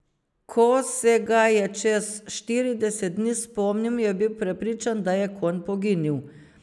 Ko se ga je čez štirideset dni spomnil, je bil prepričan, da je konj poginil.